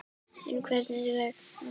En Hvers vegna?